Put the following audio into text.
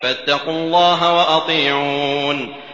فَاتَّقُوا اللَّهَ وَأَطِيعُونِ